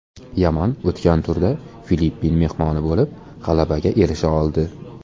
Yaman o‘tgan turda Filippin mehmoni bo‘lib g‘alabaga erisha oldi.